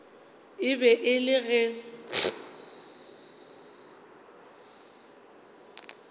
e be e le ge